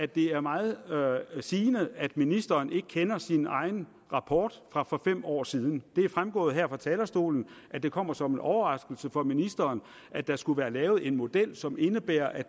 det er meget sigende at ministeren ikke kender sin egen rapport fra for fem år siden det er fremgået her fra talerstolen at det kommer som en overraskelse for ministeren at der skulle være lavet en model som indebærer at